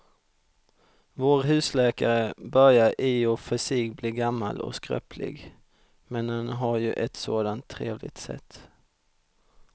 Vår husläkare börjar i och för sig bli gammal och skröplig, men han har ju ett sådant trevligt sätt!